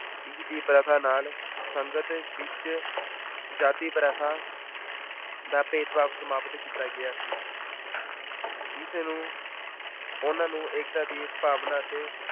ਇਸਦੀ ਪ੍ਰਥਾ ਨਾਲ ਸੰਗਤ ਵਿੱਚ ਜਾਤੀ ਪ੍ਰਥਾ ਦਾ ਭੇਦਭਾਵ ਸਮਾਪਤ ਕੀਤਾ ਗਿਆ ਸੀ ਇਸ ਨੂੰ ਉਹਨਾਂ ਨੂੰ ਏਕਤਾ ਦੀ ਭਾਵਨਾ ਅਤੇ